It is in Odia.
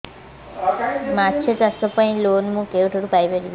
ମାଛ ଚାଷ ପାଇଁ ଲୋନ୍ ମୁଁ କେଉଁଠାରୁ ପାଇପାରିବି